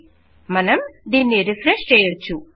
000549 000548 మనం దీన్ని రెఫ్రెష్ చేయోచ్చు